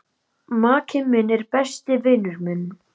Maki minn er besti vinur minn.